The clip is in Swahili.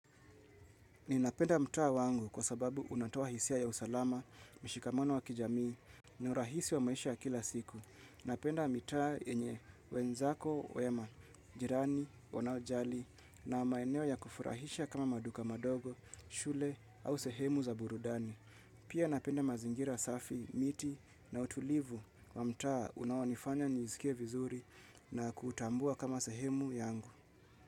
Ninapenda mtaa wangu kwa sababu unatoa hisia ya usalama, mshikamano wa kijamii, na urahisi wa maisha ya kila siku. Napenda mitaa yenye wenzako wema, jirani wanaojali, na maeneo ya kufurahisha kama maduka madogo, shule, au sehemu za burudani. Pia napenda mazingira safi, miti, na utulivu kwa mtaa unaonifanya nisikie vizuri na kuutambua kama sehemu yangu.